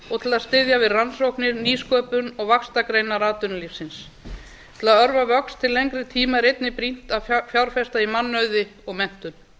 og til að styðja við rannsóknir nýsköpun og vaxtargreinar atvinnulífsins til að örva vöxt til lengri tíma er einnig brýnt að fjárfesta í mannauði og menntun